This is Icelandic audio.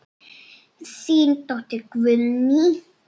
Þín dóttir Guðný.